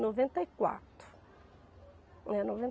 Noventa e quatro. É, noven